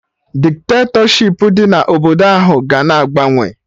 Dikitatọshipụ dị na obodo ahụ ga na agbanwe